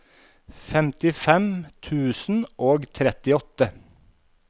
femtifem tusen og trettiåtte